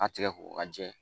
A tigɛ ko k'a jɛ.